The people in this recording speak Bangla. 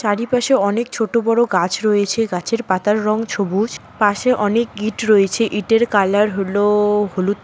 চারিপাশে অনেক ছোট বড়ো গাছ রয়েছে গাছের পাতার রং ছবুজ পাশে অনেক ইট রয়েছে ইটের কালার হলো হলুদ।